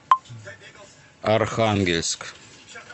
архангельск